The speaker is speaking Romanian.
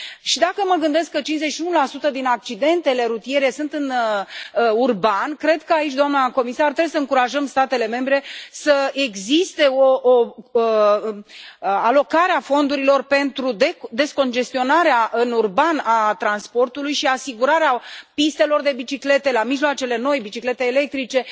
Și, dacă mă gândesc că 51 din accidentele rutiere sunt în urban, cred că aici, doamnă comisar, trebuie să încurajăm statele membre să existe o alocare a fondurilor pentru descongestionarea în urban a transportului și asigurarea pistelor de biciclete la mijloacele noi, biciclete electrice.